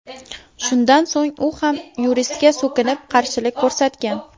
Shundan so‘ng u ham yuristga so‘kinib, qarshilik ko‘rsatgan.